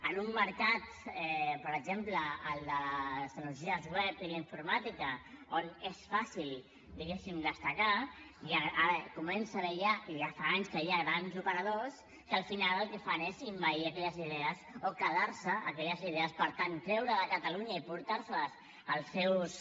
en un mercat per exemple el de les tecnologies web i la informàtica on és fàcil diguéssim destacar comença a haver hi ja i ja fa anys que hi ha grans operadors que al final el que fan és envair aquelles idees o quedar se aquelles idees per tant treure les de catalunya i emportar se les als seus